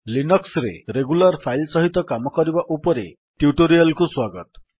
Linux ରେ regular file ସହିତ କାମ କରିବା ଉପରେ ଟ୍ୟୁଟୋରିଆଲ୍ କୁ ସ୍ୱାଗତ